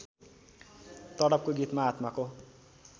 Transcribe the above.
तडपको गीतमा आत्माको